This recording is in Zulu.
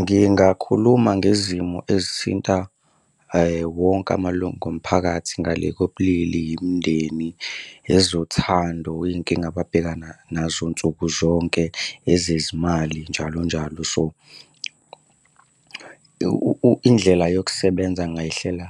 Ngingakhuluma ngezimo ezithinta wonke amalungu omphakathi ngale kobulili, yimindeni, ezothando, iy'nkinga ababhekana nazo nsuku zonke, ezezimali njalo njalo. So, indlela yokusebenza ngingayihlela